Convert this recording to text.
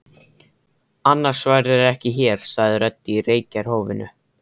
Annars værirðu ekki hér, sagði rödd í reykjarkófinu.